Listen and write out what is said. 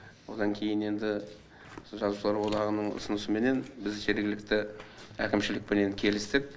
одан кейін енді жазушылар одағының ұсынысыменен біз жергілікті әкімшілікпенен келістік